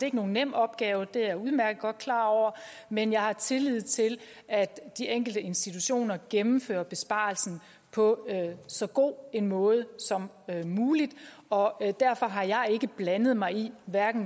ikke nogen nem opgave det er jeg udmærket godt klar over men jeg har tillid til at de enkelte institutioner gennemfører besparelsen på så god en måde som muligt og derfor har jeg ikke blandet mig i